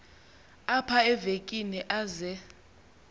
apha evekini aze